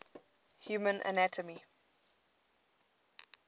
human anatomy